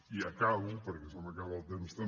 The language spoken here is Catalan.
i acabo perquè se m’acaba el temps també